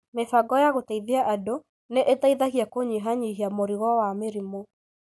Mĩbango ya gũteithia andũ nĩ ĩteithagia kũnyihanyihia mũrigo wa mĩrimũ